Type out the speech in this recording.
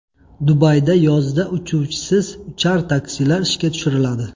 Dubayda yozda uchuvchisiz uchar taksilar ishga tushiriladi.